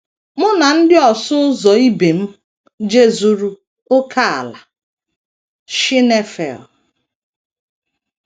Mụ na ndị ọsụ ụzọ ibe m jezuru ókèala Schneifel.